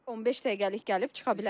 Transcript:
15 dəqiqəlik gəlib çıxa bilərlər.